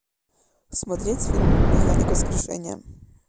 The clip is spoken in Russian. смотреть фильм механик воскрешение